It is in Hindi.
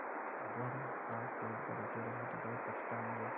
अगर आप पेड़ पर रुके रहे तो बहुत पछताएँगे